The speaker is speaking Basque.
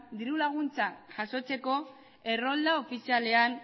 diru laguntzak jasotzeko errolda ofizialean